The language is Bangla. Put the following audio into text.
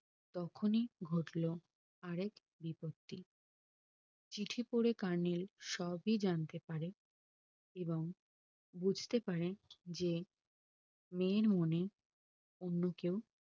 তখনি ঘটলো আর এক বিপত্তি চিঠি পরে কর্নেল সবই জানতে পারে এবং বুজতে পারেন যে মেয়ের মনে অন্য কেও